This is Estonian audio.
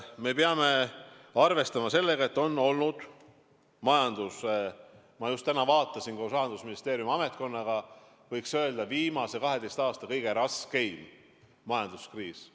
Me peame arvestama sellega, et – ma just täna vaatasin koos Rahandusministeeriumi ametkonnaga – käes on, võiks öelda, viimase 12 aasta kõige raskem majanduskriis.